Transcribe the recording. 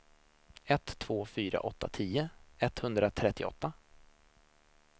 ett två fyra åtta tio etthundratrettioåtta